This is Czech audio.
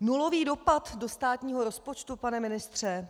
Nulový dopad do státního rozpočtu, pane ministře?